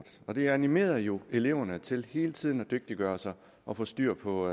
det animerede jo eleverne til hele tiden at dygtiggøre sig og få styr på